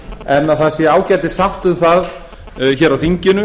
en að það sé ágætis sátt um það hér á þinginu